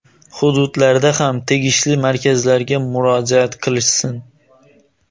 hududlarda ham tegishli markazlarga murojaat qilishsin.